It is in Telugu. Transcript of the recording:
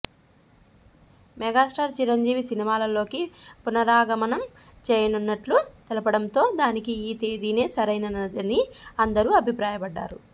మెగాస్టార్ చిరంజీవి సినిమాలలోకి పునరాగమనం చేయనున్నట్లు తెలుపడంతో దానికి ఈ తేదినే సరైనదని అందరూ అభిప్రాయపడ్డారు